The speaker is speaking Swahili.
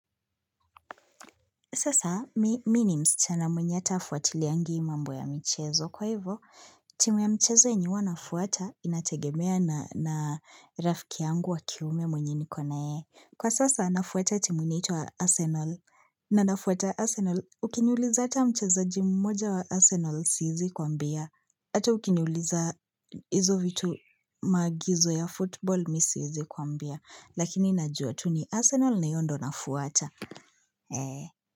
Sasa, mimi ni msichana mwenye atafuatiliangi mambo ya michezo. Kwa hivyo, timu ya mchezo yenye nafuata inategemea na rafiki yangu wa kiume mwenye nikonaye. Kwa sasa, nafuata timu inaitwa Arsenal. Na nafuata Arsenal, ukiniuliza hata mchezaji moja wa Arsenal siezi kwambia. Hata ukini uliza hizo vitu, maagizo ya (football) mi siezi kuwambia. Lakini najua tu ni Arsenal na hiyo ndio nafuata, eeh!